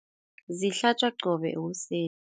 Zihlatjwa qobe ekuseni.